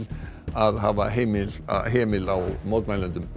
að hafa hemil hemil á mótmælendum